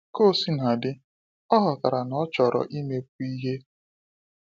Ka o sina dị, ọ ghọtara na ọ chọrọ imekwu ihe.